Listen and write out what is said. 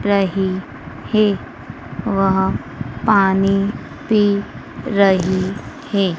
रही है। वह पानी पी रही है।